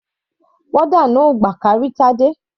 Warder náà kò gbà kí a rí Tade.